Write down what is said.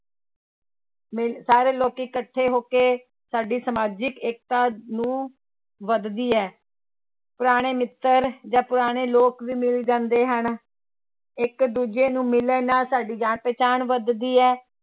ਮੇ ਸਾਰੇ ਲੋਕੀ ਇਕੱਠੇ ਹੋ ਕੇ ਸਾਡੀ ਸਮਾਜਿਕ ਏਕਤਾ ਨੂੰ ਵੱਧਦੀ ਹੈ, ਪੁਰਾਣੇ ਮਿੱਤਰ ਜਾਂ ਪੁਰਾਣੇ ਲੋਕ ਵੀ ਮਿਲ ਜਾਂਦੇ ਹਨ, ਇੱਕ ਦੂਜੇ ਨੂੰ ਮਿਲਣ ਨਾਲ ਸਾਡੀ ਜਾਣ ਪਹਿਚਾਣ ਵੱਧਦੀ ਹੈ l